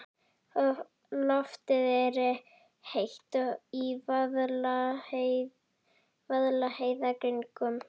Loftið er heitt í Vaðlaheiðargöngum.